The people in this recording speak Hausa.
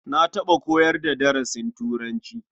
Na taɓa koyar da darasin turanci.